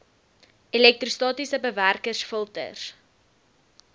elektrostatiese bewerkers filters